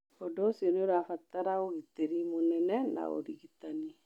Ũndũ ũcio nĩ ũrabatara ũgitĩri mũnene na ũrigitani.